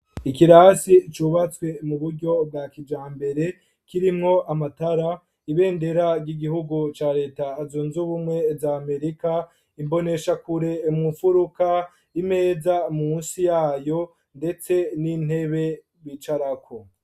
Ikirasi cubatswe mu buryo bwa kijambere kirimwo amatara ibendera ry'igihugu cya leta azunze ubumwe za amerika imbonesha kure mu furuka imeza munsi yayo ndetse n'intebe bicarako.